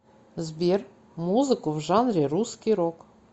сбер музыку в жанре русский рок